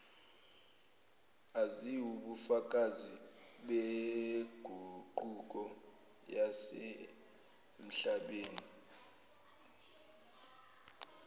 eziwubufakazi beguquko yasemhlabeni